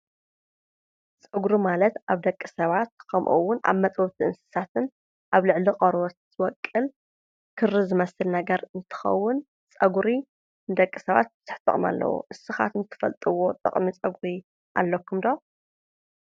ፀጉሪ ማለት ኣብ ደቂ ሰባት ከምኡ እውን ኣብ መጥበውቲ እንስሳታትን ኣብ ልዕሊ ቆርበትን ዝቦቅል ክሪ ዝመስል ነገር እንትኸውን ፀጉሪ ንደቂ ሰባት ብዙሕ ጥቕሚ ኣለዎ ንስኻትኩም ትፈልጥዎ ጥቕሚ ፀጉሪ ኣለኩም ዶ?